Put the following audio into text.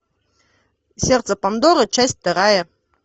сердце пандоры часть вторая